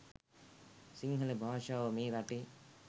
සිංහල භාෂාව මේ රටේ